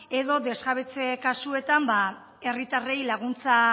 edo desjabetze kasuetan herritarrei laguntza